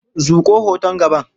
Zuƙo hoton gaban.